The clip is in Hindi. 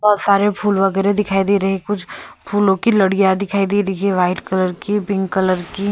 बहुत सारे फूल वगैरह दिखाई दे रहे हैं कुछ फूलों की लड़ियां दिखाई दे रही है वाइट कलर की पिंक कलर की --